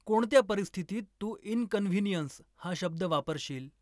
कोणत्या परिस्थितीत तू इनकन्व्हीनियंस हा शब्द वापरशील